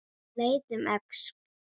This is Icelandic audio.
Hann leit um öxl.